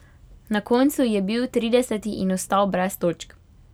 Na koncu je bil trideseti in ostal brez točk.